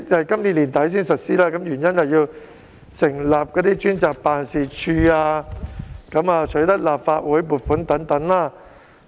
今年年底實施，原因是要成立專責辦事處、取得立法會撥款等。